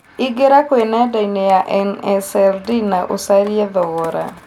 ĩngĩra kwĩ nendaĩnĩ ya nsld na ũcarĩe thogora